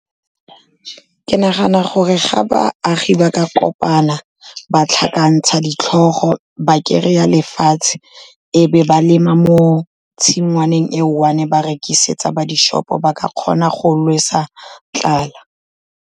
Ke nagana gore ga baagi ba ka kopana ba tlhakantsha ditlhogo, ba kry-a lefatshe e be ba lema mo tshingwaneng e one-e, ba rekisetsa ba di-shop-o, ba ka kgona go lwesa tlala.